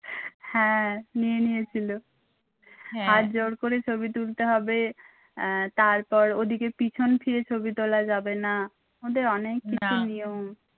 হ্যাঁ নিয়ে নিয়ে ছিল হাত জোড় করে ছবি তুলতে হবে আহ তারপর ওদিকে পিছন ফিরে ছবি তোলা যাবে না ওদের অনেক কিছু নিয়ম।